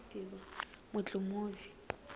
mutlumuvi